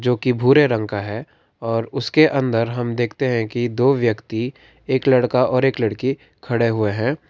जो कि भूरे रंग का है और उसके अंदर हम देखते हैं कि दो व्यक्ति एक लड़का और एक लड़की खड़े हुए हैं।